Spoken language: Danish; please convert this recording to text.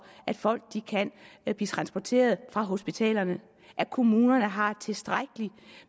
at folk kan blive transporteret fra hospitalerne at kommunerne har tilstrækkelig